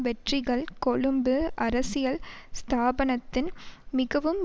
வெற்றிகள் கொழும்பு அரசியல் ஸ்தாபனத்தின் மிகவும்